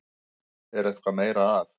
Er eitthvað meira að?